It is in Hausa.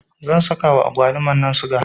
zan sakawa agwalumarnan siga